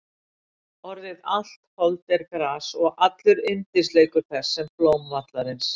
Orðið Allt hold er gras og allur yndisleikur þess sem blóm vallarins.